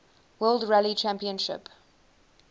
world rally championship